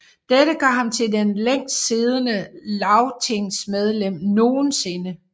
Dette gør ham til det længst siddende lagtingmedlem nogensinde